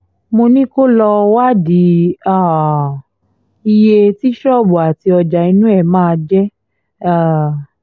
mo ní kó lọ́ọ́ wádìí um iye tí ṣọ́ọ̀bù àti ọjà inú ẹ̀ máa jẹ́ um